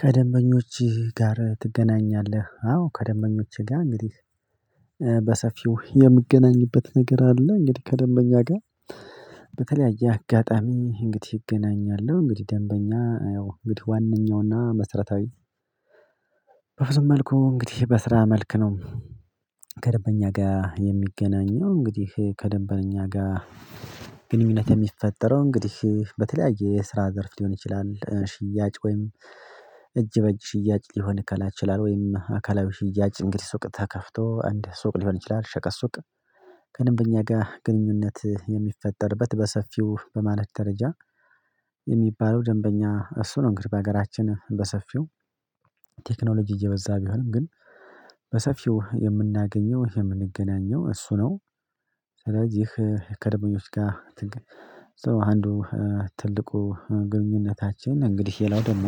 ከደንበኞችህ ጋር ትገናኛለህ? አዎ ከደንበኞቼ ጋር እንግዲህ በሰፊው የምገናኝበት ነገር አለ። እንግዲህ ከደንበኛ ጋር በተለያየ አጋጣሚ እንግዲህ እገናኛለሁ። እንግዲህ ደንበኛ የው እንግዲህ ዋናኛውና መስረታዊ በብዙ መልኩ እንግዲህ በስራ መልክ ነው። ከንደበኛ ጋር የሚገናኘው እንግዲህ ከደንበኛ ጋር ግንኙነት የሚፈጠረው እንግዲህ በተለያየ የስራ ዘርፍ ሊሆን ይችላል። ሽያጭ ወይም እጅ በእጅ ሽያጭ ሊሆን ከላ ይችላል ወይም አካላዊ ሽያጭ እንግዲህ ሱቅ ተከፍቶ እንደ ሱቅ ሊሆን ይችላል። ሸቀጥ ሱቅ ከደንበኛ ጋር ግንኙነት የሚፈጠርበት በሰፊው በማለት ደረጃ የሚባለው ደንበኛ እሱ ነው። እንግዲህ በሀገራችን በሰፊው ቴክኖሎጂ እየበዛ ቢሆንም ግን በሰፊው የምናገኘው የምንገናኘው እሱ ነው። ስለዚህ ከደንበኞች ጋር አንዱ ትልቁ ግንኙነታችን እንግዲህ ሌላው ደግሞ